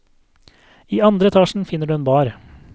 I andre etasjen finner du en bar.